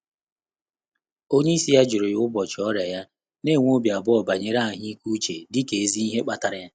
Ọ́nyé ísí yá jụ́rụ̀ ụ́bọ̀chị̀ ọ́rị́à yá, nà-ènwé óbí àbụ́ọ̀ bànyèrè àhụ́ị́ké úchè dị́kà èzí ìhè kpàtàrà yá.